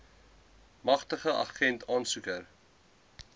magtigende agent aansoeker